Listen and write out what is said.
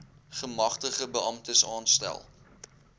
gemagtigde beamptes aanstel